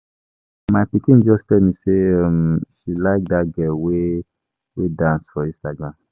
um My pikin just dey tell me um say she like dat girl wey dey dance for Instagram